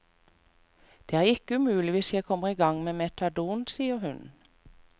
Det er ikke umulig hvis jeg kommer i gang med metadon, sier hun.